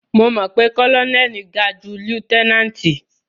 Mo mọ̀ pé kólónẹ́lì ga ju lieutẹ́náǹtì.